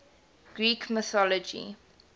greek mythology